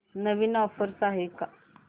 नवीन offers आहेत का